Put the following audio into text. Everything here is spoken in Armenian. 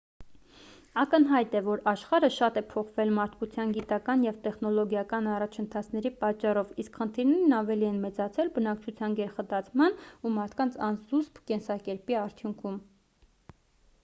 ակնհայտ է որ աշխարհը շատ է փոխվել մարդկության գիտական ու տեխնոլոգիական առաջընթացների պատճառով իսկ խնդիրներն ավելի են մեծացել բնակչության գերխտացման ու մարդկանց անզուսպ կենսակերպի արդյունքում